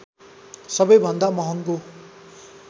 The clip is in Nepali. सबैभन्दा महँगो